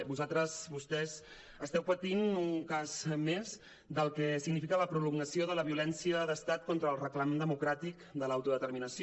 vosaltres vostès esteu patint un cas més del que significa la prolongació de la violència d’estat contra el clam democràtic de l’autodeterminació